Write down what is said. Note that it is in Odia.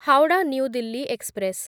Howrah new Delhi express